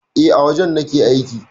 E, a wajen nake aiki.